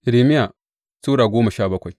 Irmiya Sura goma sha bakwai